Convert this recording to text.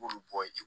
B'olu bɔ ye